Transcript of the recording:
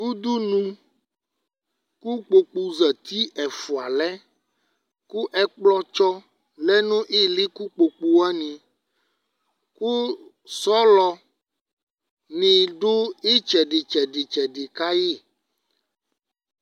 udunu k'ukpoku zati ɛfua lɛ kò ɛkplɔ tsɔ lɛ no ili kò ukpoku wani kò sɔlɔ ni do itsɛdi tsɛdi tsɛdi ka yi